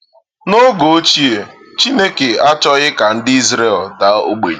N’oge ochie, Chineke achọghị ka ndị Izrel daa ogbenye.